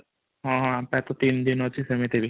ହଁ ଆମ ପକ୍ଷେ ତିନି ଦିନ ଅଛି ସେମିତି ବି |